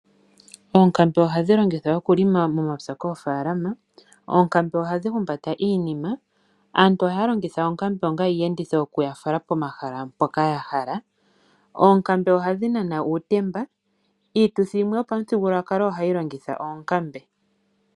Oonkambe ohadhi longithwa okupulula momapya koofaalama. Oonkambe ohadhi humbata iinima. Aantu ohaya longitha oonkambe onga iiyenditho yoku yafala pomahala mpoka ya hala. Oonkambe ohadhi nana uutemba. Iituthi yimwe yopamuthigululwakalo ohayi longitha oonkambe.